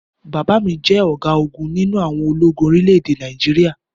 Bàbá mi jẹ́ ọ̀gágun nínú àwọn ológun orílẹ̀-èdè Nàìjíríà